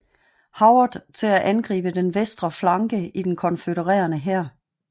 Howard til at angribe den venstre flanke i den konfødererede hær